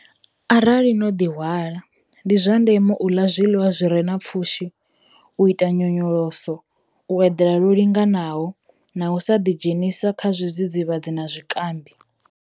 Arali no ḓihwala, ndi zwa ndeme u ḽa zwiḽiwa zwi re na pfushi, u ita nyonyoloso, u eḓela lwo linganaho na u sa ḓidzhenisa kha zwidzidzivhadzi na zwikambii.